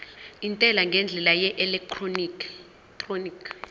intela ngendlela yeelektroniki